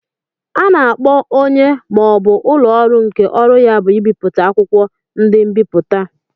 A na-akpọ onye ma ọ bụ ụlọ ọrụ nke ọrụ ya bụ ibipụta akwụkwọ, ndi nbiputa.